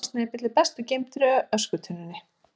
Svona snepill er best geymdur í öskutunnunni.